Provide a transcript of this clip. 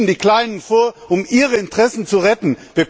Sie schieben die Kleinen vor, um ihre Interessen zu retten.